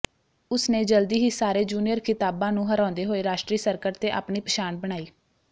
ਉਸਨੇ ਜਲਦੀ ਹੀ ਸਾਰੇ ਜੂਨੀਅਰ ਖਿਤਾਬਾਂ ਨੂੰ ਹਰਾਉਂਦੇ ਹੋਏ ਰਾਸ਼ਟਰੀ ਸਰਕਟ ਤੇ ਆਪਣੀ ਪਛਾਣ ਬਣਾਈ